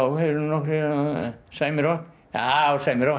eru nokkrir sæmi rokk já sæmi rokk